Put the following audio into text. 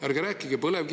Ärge rääkige põlevkivist.